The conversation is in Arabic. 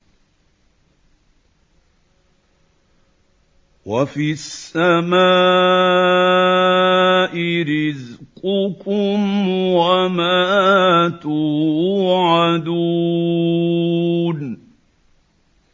وَفِي السَّمَاءِ رِزْقُكُمْ وَمَا تُوعَدُونَ